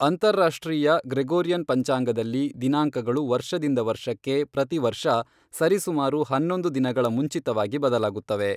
ಅಂತಾರಾಷ್ಟ್ರೀಯ ಗ್ರೆಗೋರಿಯನ್ ಪಂಚಾಂಗದಲ್ಲಿ, ದಿನಾಂಕಗಳು ವರ್ಷದಿಂದ ವರ್ಷಕ್ಕೆ ಪ್ರತಿ ವರ್ಷ ಸರಿಸುಮಾರು ಹನ್ನೊಂದು ದಿನಗಳ ಮುಂಚಿತವಾಗಿ ಬದಲಾಗುತ್ತವೆ.